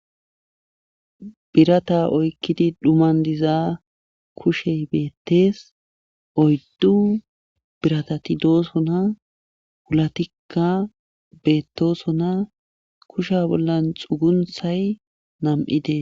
Birata oykkidi dhuman diza kushey beettees oyddu biratatidoosona wulatikka beettoosona kusha bollan xugunthay nam'ide.